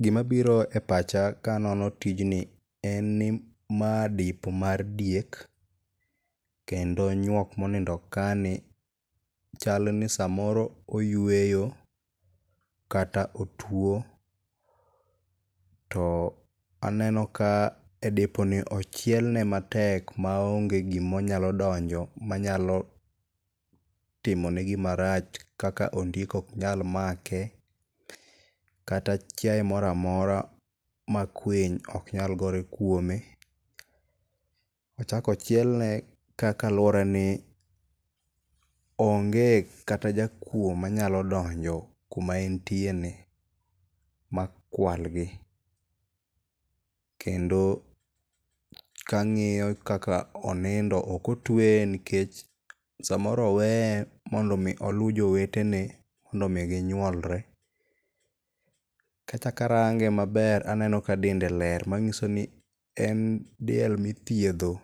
Gimabiro e pacha kanono tijni en ni ma depo mar diek, kendo nyuok monindo kani chal ni samoro oyweyo, kata otuwo. To aneno ka e deponi ochielne matek maonge gimonyalo donjo manyalo timone gimarach kaka ondiek ok nyal make. Kata chiaye mora mora ma kwiny ok nyal gore kuome. Ochak ochielne kaka aluorani ,onge kata jakuwo manyalo donjo kuma entieni ma kualgi. Kendo kang'iyo kaka onindo, ok otueye nikech samoro oweye mondo omi oluw jowetene, mondo omi ginyuolre. Kachako arange maber, aneno ka dende ber manyiso ni en diel mithiedho